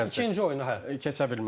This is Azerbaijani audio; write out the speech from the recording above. İkinci oyunu hə, keçə bilməzdi.